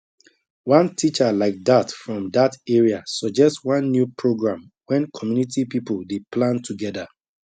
one teacher like that from that area suggest one new program when community people dey plan together